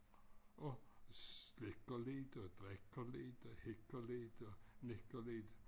Og slikker lidt og drikker lidt og hikker lidt og nikker lidt